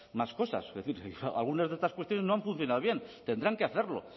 más cosas es decir algunas de estas cuestiones no han funcionado bien tendrán que hacerlo